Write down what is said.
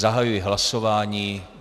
Zahajuji hlasování.